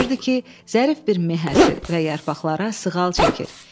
Görürdü ki, zərif bir meh əsir və yarpaqlara sığal çəkir.